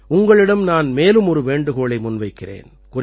உங்களிடம் நான் மேலும் ஒரு வேண்டுகோளை முன்வைக்கிறேன்